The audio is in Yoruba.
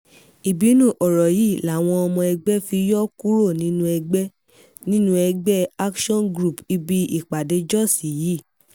ìbínú ọ̀rọ̀ yìí làwọn ọmọ ẹgbẹ́ fi yọ kuro nínú ẹgbẹ́ nínú ẹgbẹ́ action group ibi ìpàdé jós yìí